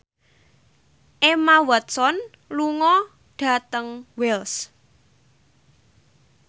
Emma Watson lunga dhateng Wells